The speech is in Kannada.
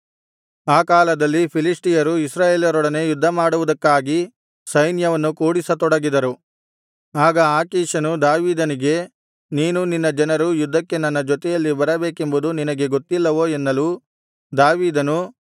ಆ ಕಾಲದಲ್ಲಿ ಫಿಲಿಷ್ಟಿಯರು ಇಸ್ರಾಯೇಲರೊಡನೆ ಯುದ್ಧಮಾಡುವುದಕ್ಕಾಗಿ ಸೈನ್ಯವನ್ನು ಕೂಡಿಸತೊಡಗಿದರು ಆಗ ಆಕೀಷನು ದಾವೀದನಿಗೆ ನೀನೂ ನಿನ್ನ ಜನರೂ ಯುದ್ಧಕ್ಕೆ ನನ್ನ ಜೊತೆಯಲ್ಲಿ ಬರಬೇಕೆಂಬುದು ನಿನಗೆ ಗೊತ್ತಿಲ್ಲವೋ ಎನ್ನಲು ದಾವೀದನು